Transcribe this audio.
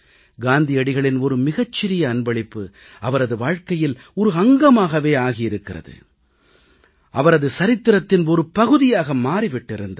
காந்தியடிகளின் ஒரு மிகச்சிறிய அன்பளிப்பு அவரது வாழ்க்கையில் ஒரு அங்கமாகவே ஆகியிருக்கிறது அவரது சரித்திரத்தின் ஒரு பகுதியாக மாறி விட்டிருந்தது